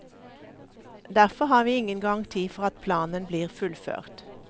Derfor har vi ingen garanti for at planen blir fullført.